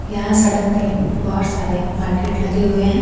यहां सड़क पे बहुत सारे मार्केट लगे हुए हैं।